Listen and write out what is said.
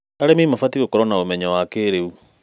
Arĩmi mabatiĩ gũkorwo na ũmenyo wa kĩrĩu.